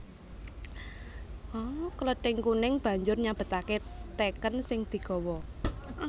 Klething Kuning banjur nyabetaké teken sing digawa